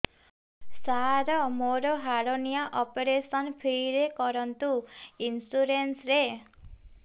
ସାର ମୋର hernia operation free ରେ କରନ୍ତୁ ଇନ୍ସୁରେନ୍ସ ରେ